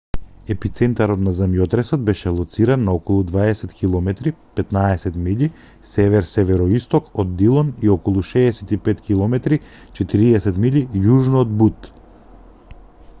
епицентарот на земјотресот беше лоциран на околу 20 km 15 милји север-североисток од дилон и околу 65 km 40 милји јужно од бут